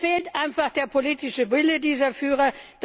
Es fehlt einfach der politische Wille dieser Führer.